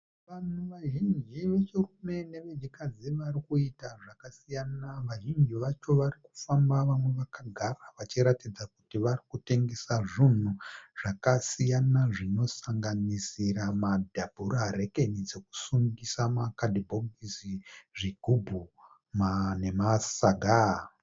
Vanhu vazhinji vechirume nevechikadzi vari kuita zvakasiyana. Vazhinji vacho vari kufamba vamwe vakagara vachiratidza kuti varikutengesa zvinhu zvakasiyana zvinosanganisira madhabhura rekeni dzokusungisa makadhibhokisi, zvigubhu nemasaga.